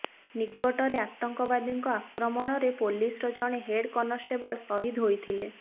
ନିକଟରେ ଆତଙ୍କବାଦୀଙ୍କ ଆକ୍ରମଣରେ ପୋଲିସର ଜଣେ ହେଡ କନଷ୍ଟେବଳ ସହିଦ ହୋଇଥିଲେ